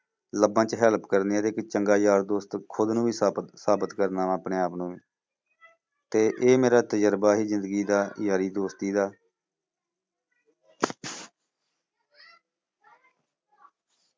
ਲੱਭਣ ਚ help ਕਰਨੀ ਆ ਤੇ ਇੱਕ ਚੰਗਾ ਯਾਰ ਦੋਸਤ ਖੁੱਦ ਨੂੰ ਵੀ ਸਾਬਿਤ ਸਾਬਿਤ ਕਰਨਾ ਵਾ ਆਪਣੇ ਆਪ ਨੂੰ ਤੇ ਇਹ ਮੇਰਾ ਤੁਜਰਬਾ ਸੀ ਜ਼ਿੰਦਗੀ ਦਾ ਯਾਰੀ ਦੋਸਤੀ ਦਾ।